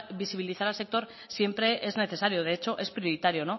visibilizar al sector siempre es necesario de hecho es prioritario